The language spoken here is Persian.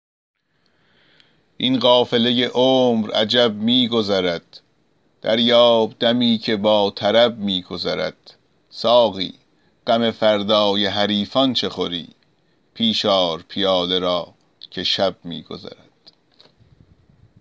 این قافله عمر عجب می گذرد دریاب دمی که با طرب می گذرد ساقی غم فردای حریفان چه خوری پیش آر پیاله را که شب می گذرد